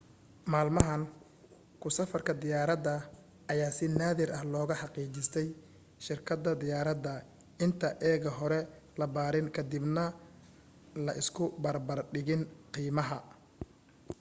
maalmahan ku safarka diyaaradda ayaa si naadir ah loga hagaajistaa shirkadda diyaaradda inta ega hore la baarin ka dib na la isu barbar dhigin qiimaha